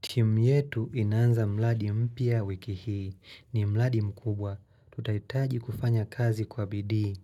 Timu yetu inaanza mradi mpya wiki hii. Ni mladi mkubwa. Tutahitaji kufanya kazi kwa bidii.